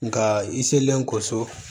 Nka i selen ko so